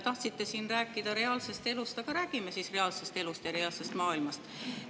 Tahtsite siin rääkida reaalsest elust, räägime siis reaalsest elust ja reaalsest maailmast!